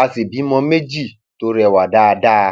a sì bímọ méjì tó rẹwà dáadáa